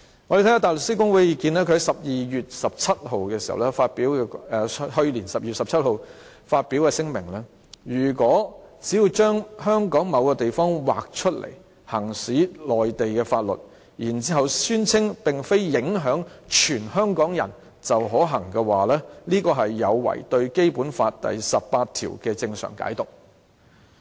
我們看看大律師公會的意見，他們在去年12月17日發表聲明，指出如果只要把香港某地方劃出來行使內地法律，然後宣稱並非影響全香港人便可行的話，這是有違對《基本法》第十八條的正常解讀。